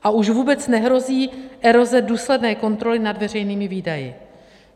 A už vůbec nehrozí eroze důsledné kontroly nad veřejnými výdaji.